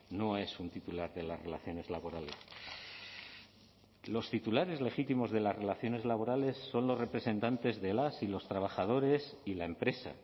no es un titular de las relaciones laborales los titulares legítimos de las relaciones laborales son los representantes de las y los trabajadores y la empresa